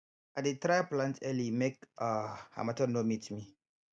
i dey try plant early make um harmattan no meet me